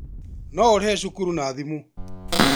No ũrĩhe cukuru na thimũ